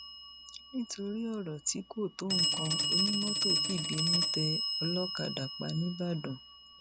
nítorí ọrọ tí kò tó nǹkan onímọtò fìbínú tẹ olókàdá pa nìbàdàn